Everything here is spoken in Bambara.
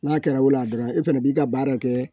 N'a kɛra o la dɔrɔn, e fana b'i ka baara kɛ.